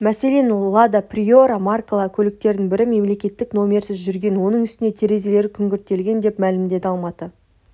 мәселен лада приора маркалы көліктердің бірі мемлекеттік нөмірсіз жүрген оның үстіне терезелері күңгірттелген деп мәлімдеді алматы